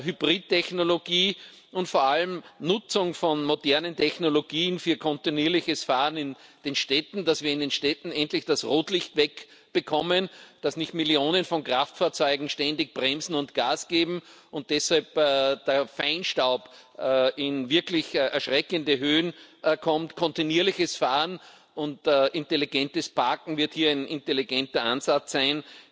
Hybridtechnologie und vor allem Nutzung von modernen Technologien für kontinuierliches Fahren in den Städten, damit wir in den Städten endlich das Rotlicht wegbekommen, damit nicht Millionen von Kraftfahrzeugen ständig bremsen und Gas geben und deshalb der Feinstaub in wirklich erschreckende Höhen kommt. Kontinuierliches Fahren und intelligentes Parken wird hier ein intelligenter Ansatz sein.